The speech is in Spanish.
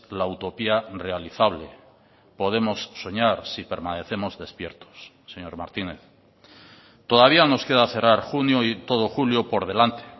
la utopía realizable podemos soñar si permanecemos despiertos señor martínez todavía nos queda cerrar junio y todo julio por delante